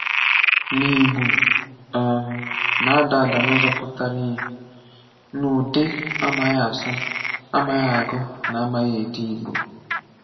Na Ìgbò um na-adà àdà n’ụ́zọ̀ pụtara ihe n’ụ́dị̀ amaghị asụ, amaghị agụ, na amaghị edè Ìgbò.